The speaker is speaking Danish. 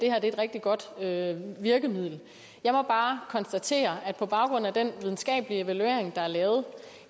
er et rigtig godt virkemiddel jeg må bare konstatere at på baggrund af den videnskabelige evaluering der er lavet